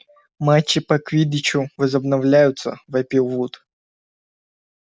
матчи по квиддичу возобновляются вопил вуд